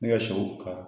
Ne ka sɛw ka